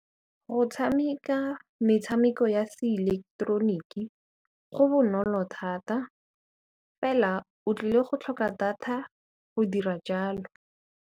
Go tshameka metshameko ya seileketeroniki go bonolo thata fela o tlile go tlhoka data go dira jalo.